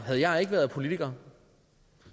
havde jeg ikke været politiker